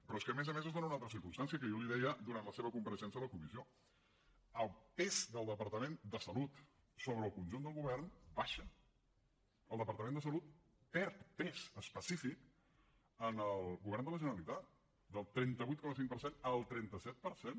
però és que a més a més es dona una altra circumstància que jo li deia durant la seva compareixença a la comissió el pes del departament de salut sobre el conjunt del govern baixa el departament de salut perd pes específic en el govern de la generalitat del trenta vuit coma cinc per cent al trenta set per cent